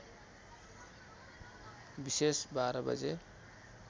विषेश १२ बजे